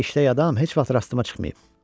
Amma belə işləyən adam heç vaxt rastıma çıxmayıb.